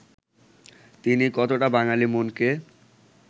তিনি কতটা বাঙালি মনকে